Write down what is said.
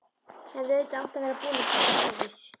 Hefði auðvitað átt að vera búin að kíkja á bréfið.